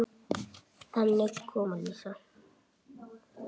Þannig kom Lísa.